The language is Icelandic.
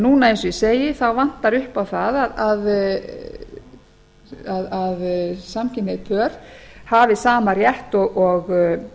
núna eins og ég segi vantar upp á það að samkynhneigð pör hafi sama rétt og